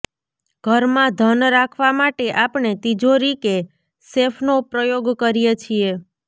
ઘરમાં ધન રાખવા માટે આપણે તિજોરી કે સેફનો પ્રયોગ કરીએ છીએ